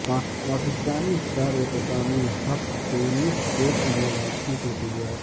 Pakistani star Aisam ul-Haq tennis court میں واپسی کیلئے تیار